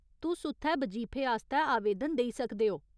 तुस उत्थै बजीफे आस्तै आवेदन देई सकदे ओ।